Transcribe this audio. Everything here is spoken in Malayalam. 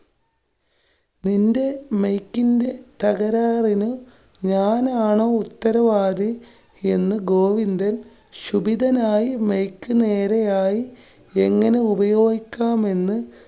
നിന്റെ mike ന്റെ തകരാറിന്, ഞാനാണോ ഉത്തരവാദി എന്നു ഗോവിന്ദന്‍ ക്ഷുഭിതനായി mike നേരെയായി എങ്ങനെ ഉപയോഗിക്കാം എന്ന്